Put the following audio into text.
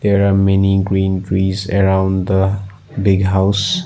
There are many green trees around the big house.